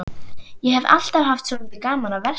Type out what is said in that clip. Ég hef alltaf haft svolítið gaman af að versla.